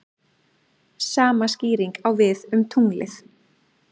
Sama skýring á við um tunglið.